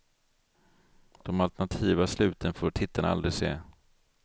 De alternativa sluten får tittarna aldrig se.